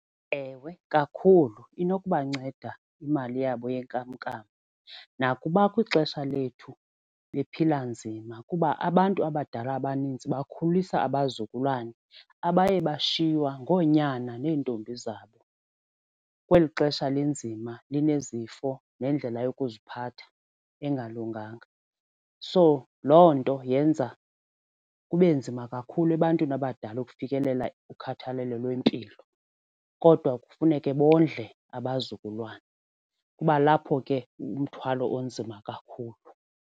Ewe, kakhulu inokubanceda imali yabo yenkamnkam, nakuba kwixesha lethu bephila nzima kuba abantu abadala abaninzi bakhulisa abazukulwana abaye bashiywa ngonyana neentombi zabo kweli xesha linzima zinezifo nendlela yokuziphatha engalunganga. So loo nto yenza kube nzima kakhulu ebantwini abadala ukufikelela kukhathalelo lwempilo kodwa kufuneke bondle abazukulwana. Kuba lapho ke umthwalo unzima kakhulu.